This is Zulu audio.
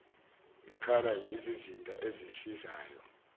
ngekhala yizizinda ezisizayo